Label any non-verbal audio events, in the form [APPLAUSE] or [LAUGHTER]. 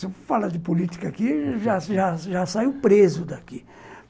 Se eu falar de política aqui, [LAUGHS] já saio preso daqui.